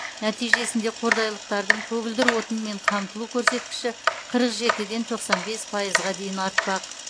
нәтижесінде қордайлықтардың көгілдір отынмен қамтылу көрсеткіші қырық жетіден тоқсан бес пайызға дейін артпақ